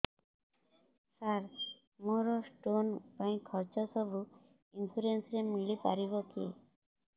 ସାର ମୋର ସ୍ଟୋନ ପାଇଁ ଖର୍ଚ୍ଚ ସବୁ ଇନ୍ସୁରେନ୍ସ ରେ ମିଳି ପାରିବ କି